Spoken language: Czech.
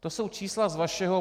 To jsou čísla z vašeho...